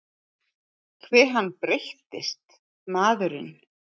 Hve hann breyttist, maðurinn.